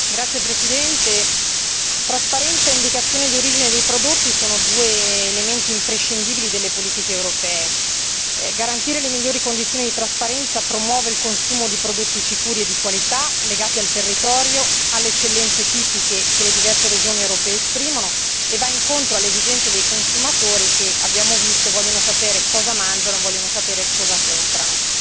Signor Presidente, onorevoli colleghi, trasparenza e indicazione di origine dei prodotti sono due elementi imprescindibili delle politiche europee. Garantire le migliori condizioni di trasparenza promuove il consumo di prodotti sicuri e di qualità, legati al territorio e alle eccellenze tipiche che le diverse regioni europee esprimono e va incontro alle esigenze dei consumatori che, abbiamo visto, vogliono sapere cosa mangiano e vogliono sapere cosa comprano.